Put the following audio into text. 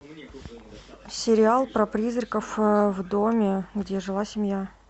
сериал про призраков в доме где жила семья